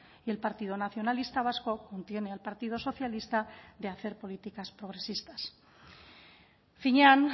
y el partido nacionalista vasco contiene al partido socialista de hacer políticas progresistas finean